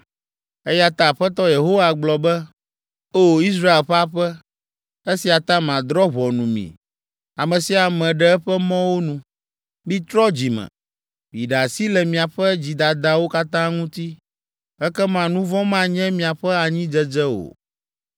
Eya ta Aƒetɔ Yehowa gblɔ be, “O! Israel ƒe aƒe, esia ta madrɔ̃ ʋɔnu mi, ame sia ame ɖe eƒe mɔwo nu. Mitrɔ dzi me! Miɖe asi le miaƒe dzidadawo katã ŋuti, ekema nu vɔ̃ manye miaƒe anyidzedze o.